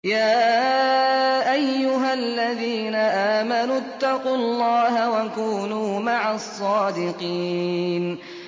يَا أَيُّهَا الَّذِينَ آمَنُوا اتَّقُوا اللَّهَ وَكُونُوا مَعَ الصَّادِقِينَ